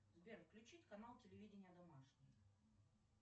сбер включить канал телевидения домашний